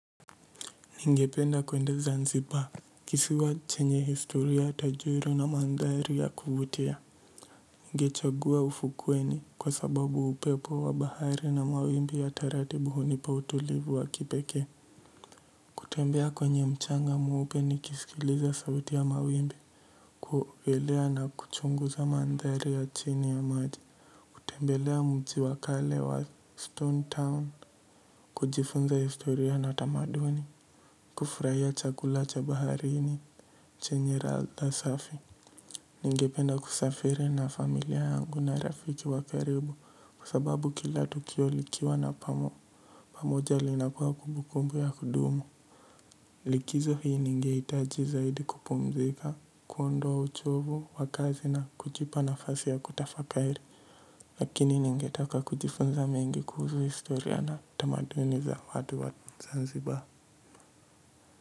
Ningependa kwendeza nzipa kisiwa chenye historia tajii na madhari ya kuvutia ninge chagua ufukuweni kwa sababu upepo wa bahari na mawimbi ya taratibu hunipa utulivu wa kipekee. Kutembea kwenye mchanga mweupe nikiskiliza sauti ya mawimbi ku elea na kuchunguza madhari ya chini ya maji kutembelea mji wa kale wa stone town kujifunza historia na tamaduni kufurahia chakula cha baharini chenye ladha safi ninge penda kusafiri na familia yangu na rafiki wa karibu kwa sababu kila tukio likiwa na pamoja linakuwa kumbukumbu ya kudumu likizo hii ninge hitaji zaidi kupumzika kuondoa uchovu wakazi na kujipa nafasi ya kutafakari lakini ninge taka kujifunza mengi kuhusu historia na tamaduni za watu wa zanzibar.